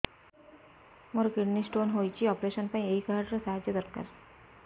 ମୋର kidney stone ହଇଛି operation ପାଇଁ ଏହି କାର୍ଡ ର ସାହାଯ୍ୟ ଦରକାର